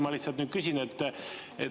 Ma lihtsalt nüüd küsin.